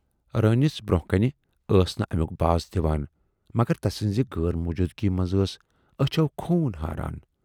روٗنِس برونہہ کنہِ ٲس نہٕ امیُک باس دِوان مگر تسٕنزِ غٲر موجوٗدٕگی منز ٲس ٲچھو خوٗن ہاران۔